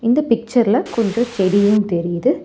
இந்த பிச்சர்ல கொஞ்சோ செடியும் தெரியுது.